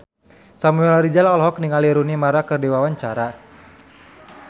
Samuel Rizal olohok ningali Rooney Mara keur diwawancara